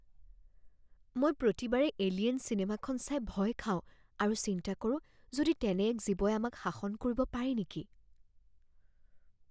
মই প্ৰতিবাৰে "এলিয়েন" চিনেমাখন চাই ভয় খাওঁ আৰু চিন্তা কৰো যদি তেনে এক জীৱই আমাক শাসন কৰিব পাৰে নেকি।